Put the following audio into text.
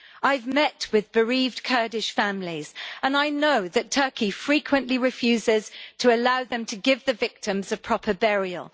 I have met with bereaved Kurdish families, and I know that Turkey frequently refuses to allow them to give the victims a proper burial.